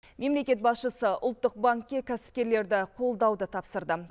мемлекет басшысы ұлттық банкке кәсіпкерлерді қолдауды тапсырды